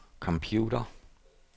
computer